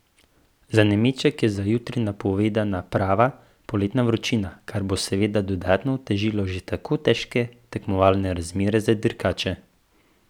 Za nameček je za jutri napovedana prava poletna vročina, kar bo seveda dodatno otežilo že tako težke tekmovalne razmere za dirkače.